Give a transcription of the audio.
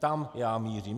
Tam já mířím.